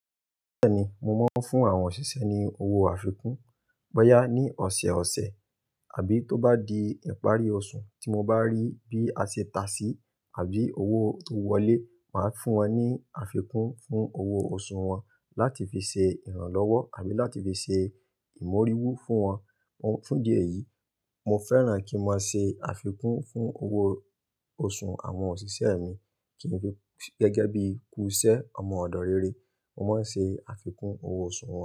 Bẹ́ẹ̀ni, mo máa ń fún àwọn òṣìṣẹ́ ni owó àfikún. Bọ́yá ní ọ̀sẹ̀ ọ̀sẹ̀ àbí tó bá di ìparí oṣù tí mo bá rí bí a ṣe tà sí àbí owó tó wọlé, màá fún wọn ní àfikún fún owó oṣù wọn láti fi ṣe ìrànlọ́wọ́ àbí láti fi ṣe ìmóríwú fún wọn. Fún idí ẹ̀yí, mo fẹ́ràn kí n máa ṣe àfikún fún owó oṣù àwọn òṣìṣẹ́ mi. Kì n fu--gẹ́gẹ́ bí kuṣẹ́ ọmọ ọ̀dọ̀ rere, mo máa ń ṣe àfikún owó oṣù wọn.